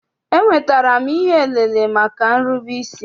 Enwetara m ihe elele maka irube isi.